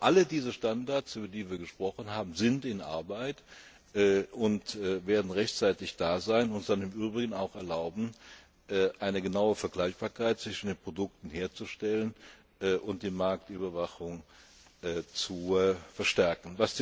Zeit. Aber alle diese Standards, über die wir gesprochen haben, sind in Arbeit und werden rechtzeitig da sein und uns im Übrigen dann auch erlauben, eine genaue Vergleichbarkeit zwischen den Produkten herzustellen und die Marktüberwachung zu verstärken.